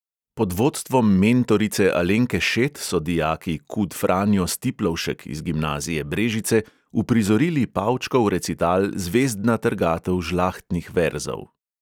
Pod vodstvom mentorice alenke šet so dijaki kud franjo stiplovšek iz gimnazije brežice uprizorili pavčkov recital zvezdna trgatev žlahtnih verzov.